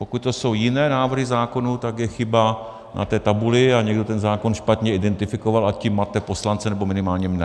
Pokud to jsou jiné návrhy zákonů, tak je chyba na té tabuli a někdo ten zákon špatně identifikoval, a tím mate poslance, nebo minimálně mne.